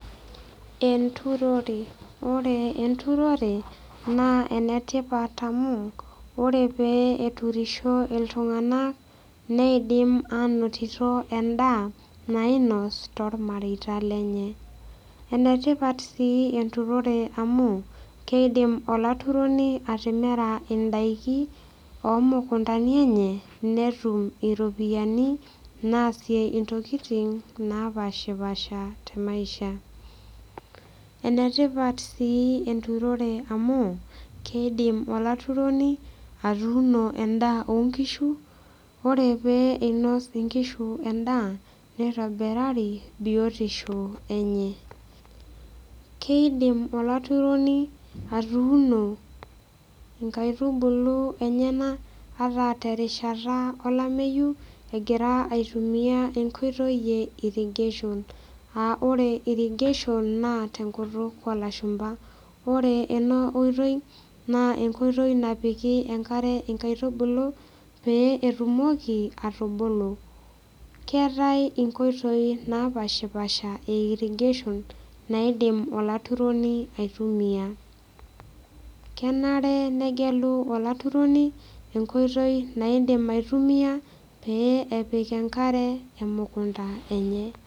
Enturore ore enturore naa enetipat amu ore pee eturisho iltung'anak neidim anotito endaa nainos tormareita lenye enetipat sii enturore amu keidim olaturoni atimira indaiki omukuntani enye netum iropiyiani naasie intokiting napashipasha te maisha enetipat sii enturore amu keidim oltauroni atuuno endaa onkishu ore pee einos inkishu endaa nitobirari biotisho enye keidim olaturoni atuuno inkaitubulu enyenak ata terishata olameyu egira aitumia enkoitoi e irrigation aa ore irrigation naa tenkutuk olashumpa ore ena oitoi naa enkoitoi napiki enkare inkaitubulu pee etumoki atubulu keetae inkoitoi napashipasha e irrigation naidim olaturoni aitumia kenare negelu olaturoni enkoitoi naidim aitumia pee epik enkare emukunta enye.